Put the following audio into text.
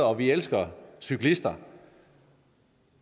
og vi elsker cyklister